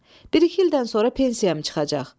Bir-iki ildən sonra pensiyam çıxacaq.